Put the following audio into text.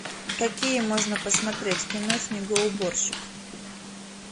какие можно посмотреть кино снегоуборщик